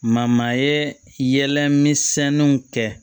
ye yɛlɛ misɛnninw kɛ